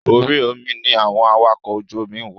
Orí omi ni àwọn awakọ̀ ojú omi ń wà.